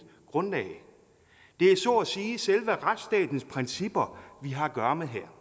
grundlag det er så at sige selve retsstatens principper vi har at gøre med her